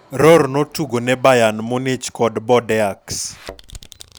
Rohr notugone Bayern Munich kod Bordeaux.